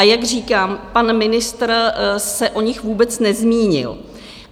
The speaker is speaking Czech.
A jak říkám, pan ministr se o nich vůbec nezmínil.